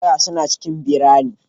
GRA suna cikin birane.